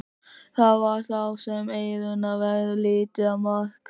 Það var þá sem Eyrúnu varð litið á Mark.